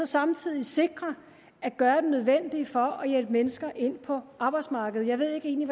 samtidig sikrer at gøre det nødvendige for at hjælpe mennesker ind på arbejdsmarkedet jeg ved egentlig